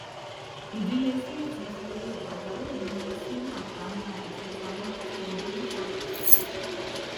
ìdílé smith fi owó pajawiri wọn sínú àpamọ ìfipamọ tí ẹbí ń ṣàkóso